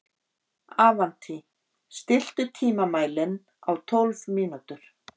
Avantí, stilltu tímamælinn á tólf mínútur.